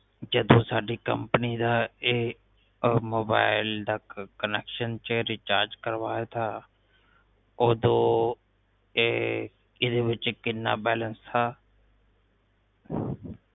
ਜਦੋ ਸਾਡੀ ਕੰਪਨੀ ਦਾ ਇਹ ਮੋਬਾਈਲ ਦਾ ਅਹ connection ਜਾ ਰਿਚਾਰਜ ਕਰਵਾਇਆ ਥਾ ਓਦੋ ਇਹ ਇਹਦੇ ਵਿਚ ਕਿੰਨਾ ਬੈਲੰਸ ਥਾ